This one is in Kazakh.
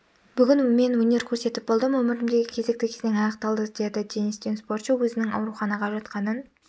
бүгін мен өнер көрсетіп болдым өмірімдегі кезекті кезең аяқталды деді денис тен спортшы өзінің ауруханаға жатқанын